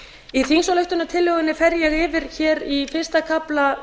í þingsályktunartillögunni fer ég yfir í fyrsta kafla